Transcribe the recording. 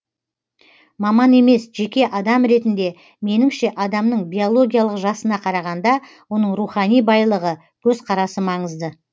маман емес жеке адам ретінде меніңше адамның биологиялық жасына қарағанда оның рухани байлығы көзқарасы маңызды